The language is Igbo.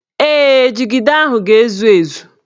Ee, jigida ahụ ga-ezu ezu